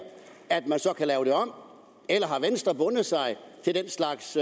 kan lave det om eller har venstre bundet sig til den slags